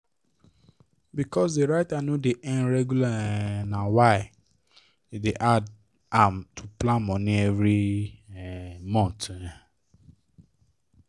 because the writer no dey earn regular um na why e dey hard am to plan money every um month um